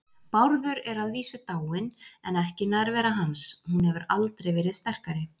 Bárður er að vísu dáinn en ekki nærvera hans, hún hefur aldrei verið sterkari.